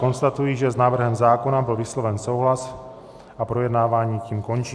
Konstatuji, že s návrhem zákona byl vysloven souhlas, a projednávání tím končí.